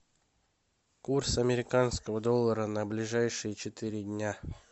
курс американского доллара на ближайшие четыре дня